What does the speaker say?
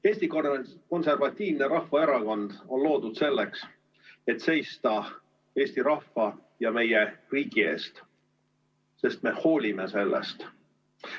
Eesti Konservatiivne Rahvaerakond on loodud selleks, et seista eesti rahva ja meie riigi eest, sest me hoolime sellest.